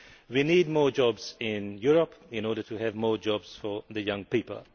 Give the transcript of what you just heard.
We need more jobs in Europe in order to have more jobs for young people.